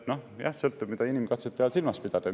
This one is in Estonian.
Noh, sõltub, mida inimkatsete all silmas pidada.